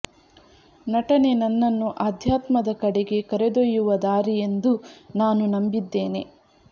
ನಟನೆ ನನ್ನನ್ನು ಅಧ್ಯಾತ್ಮದ ಕಡೆಗೆ ಕರೆದೊಯ್ಯುವ ದಾರಿ ಎಂದು ನಾನು ನಂಬಿದ್ದೇನೆ